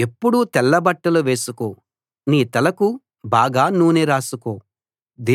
ఎప్పుడూ తెల్ల బట్టలు వేసుకో నీ తలకు బాగా నూనె రాసుకో